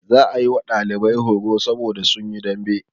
Za a yi wa ɗalibai horo saboda sun yi dambe.